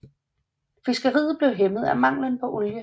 Fiskeriet blev hæmmet af manglen på olie